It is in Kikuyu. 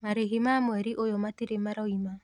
marĩhi ma mweri ũyũ matirĩ maroima.